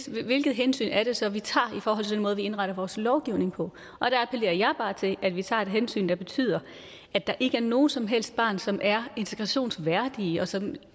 hvilket hensyn er det så vi tager i forhold til den måde vi indretter vores lovgivning på der appellerer jeg bare til at vi tager et hensyn der betyder at der ikke er nogen som helst børn som er integrationsværdige og som